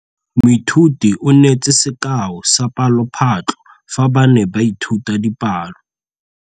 Moithuti o neetse sekaô sa palophatlo fa ba ne ba ithuta dipalo.